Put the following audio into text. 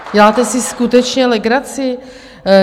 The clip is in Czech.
Děláte si skutečně legraci?